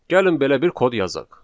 Gəlin belə bir kod yazaq.